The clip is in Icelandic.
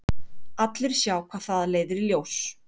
Allir sjá hvað það leiðir í ljós.